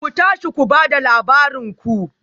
Ku tashi ku ba da labarin ku